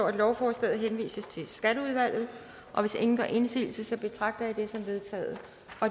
at lovforslaget henvises til skatteudvalget hvis ingen gør indsigelse betragter jeg det som vedtaget